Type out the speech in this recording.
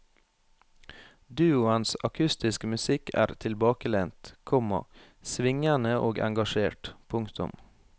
Duoens akustiske musikk er tilbakelent, komma svingende og engasjert. punktum